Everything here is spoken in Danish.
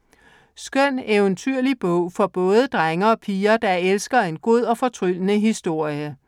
Skøn eventyrlig bog for både drenge og piger, der elsker en god og fortryllende historie.